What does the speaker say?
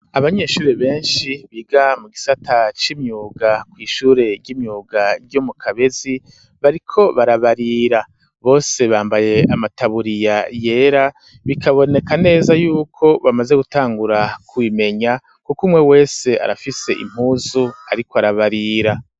Abanyeshuri beshi biga mu gisata c'imyuga kw'ishure ry'imyuga ryo mu Kabezi bariko barabarira bose bambaye amataburiya yera bikaboneka neza yuko bamaze gutangura ku bimenya kuko umwe wese arafise impuzu ariko arabarira.